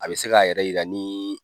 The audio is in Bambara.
A bɛ se ka yɛrɛ yira nii.